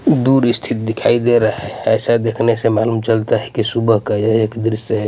दूर स्थित दिखाई दे रहा है ऐसा देखने से मालूम चलता है कि सुबह का यह एक दृश्य है.